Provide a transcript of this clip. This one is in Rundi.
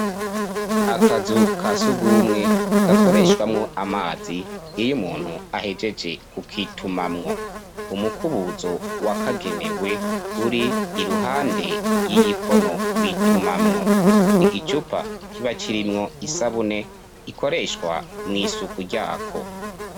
Akazu ka surwumwe gakoreshwamo amazi . Iyo umuntu ahegeje kukitumamwo, umukubuzo wakagenewe ur'iruhande y'igikono bitumamwo. Igicupa kiba kirimwo isabune ikoreshwa mw' isuku ryako.